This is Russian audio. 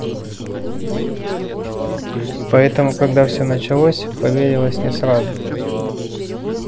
поэтому когда всё началось поверилось не сразу